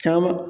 Caman